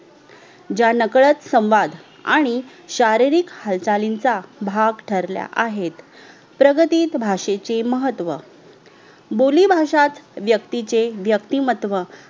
ज्या नकडत संवाद आणि शारीरिक हालचालीचा भाग ठरल्या आहेत प्रगतीत भाषेचे महत्व. बोलीभाष्याच व्यक्तीचे व्यक्तिमहत्व